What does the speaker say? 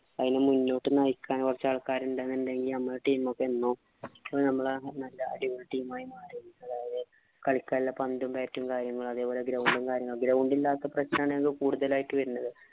അതിനെ മുന്നോട്ടു നയിക്കാന്‍ കുറച്ചു ആള്‍ക്കാരുണ്ടേ നമ്മടെ team ഒക്കെ എന്നോ അപ്പൊ നമ്മള് നല്ല അടിപൊളി team ആയി മാറിയേനെ. അതായത്, കളിക്കാനുള്ള പന്തും, bat ഉം കാര്യങ്ങളും, അതേപോലെ ground ഉം കാര്യങ്ങളും ground ഇല്ലാത്ത പ്രശ്നമാണ് ഞങ്ങള്‍ക്ക് കൂടുതലായിട്ട് വരുന്നത്.